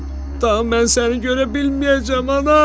Daha mən səni görə bilməyəcəm, ana!